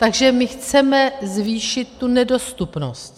Takže my chceme zvýšit tu nedostupnost.